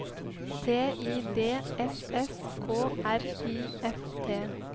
T I D S S K R I F T